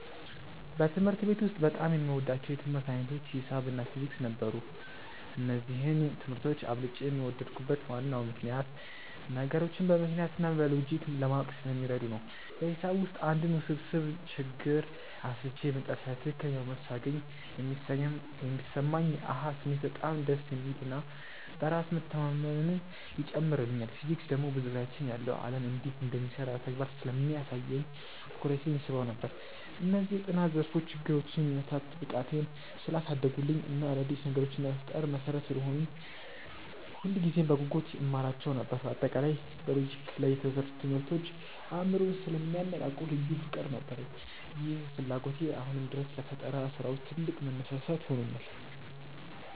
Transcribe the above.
በትምህርት ቤት ውስጥ በጣም የምወዳቸው የትምህርት ዓይነቶች ሒሳብ እና ፊዚክስ ነበሩ። እነዚህን ትምህርቶች አብልጬ የወደድኩበት ዋናው ምክንያት ነገሮችን በምክንያት እና በሎጂክ ለማወቅ ስለሚረዱ ነው። በሒሳብ ውስጥ አንድን ውስብስብ ችግር አስልቼ መጨረሻ ላይ ትክክለኛውን መልስ ሳገኝ የሚሰማኝ የ "አሃ" ስሜት በጣም ደስ የሚል እና በራስ መተማመንን ይጨምርልኛል። ፊዚክስ ደግሞ በዙሪያችን ያለው ዓለም እንዴት እንደሚሰራ በተግባር ስለሚያሳየኝ ትኩረቴን ይስበው ነበር። እነዚህ የጥናት ዘርፎች ችግሮችን የመፍታት ብቃቴን ስላሳደጉልኝ እና አዳዲስ ነገሮችን ለመፍጠር መሠረት ስለሆኑኝ ሁልጊዜም በጉጉት እማራቸው ነበር። በአጠቃላይ በሎጂክ ላይ የተመሰረቱ ትምህርቶች አእምሮን ስለሚያነቃቁ ልዩ ፍቅር ነበረኝ። ይህ ፍላጎቴ አሁንም ድረስ ለፈጠራ ስራዎች ትልቅ መነሳሳት ሆኖኛል።